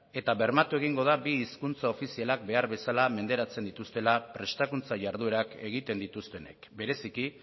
eta bermatu egingo da bi hizkuntza ofizialak behar bezala menderatzen dituztela prestakuntza jarduerak egiten dituztenek bereziki